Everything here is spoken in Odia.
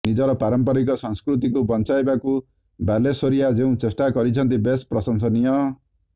ନିଜର ପାରମ୍ପରିକ ସଂସ୍କୃତିକୁ ବଂଚାଇବାକୁ ବାଲେଶ୍ୱରିଆ ଯେଉଁ ଚେଷ୍ଟା କରିଛନ୍ତି ବେଶ ପ୍ରସଂଶନୀୟ